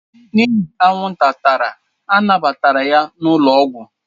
N'ihi anwụnta tara a nabata ya n'ụlọọgwụ